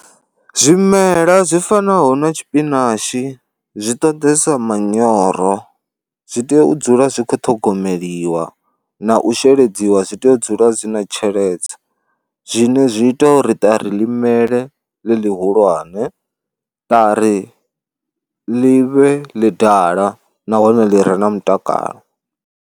Zwimela zwi fanaho na tshipinashi zwi ṱoḓesa manyoro zwi tea u dzula zwi kho ṱhogomeliwa na u sheledziwa, zwi tea u dzula zwi na tsheledze zwine zwi ita uri ṱari ḽi mele ḽi ḽihulwane, ṱari ḽi vhe ḽi ḓala nahone ḽi re na mutakalo.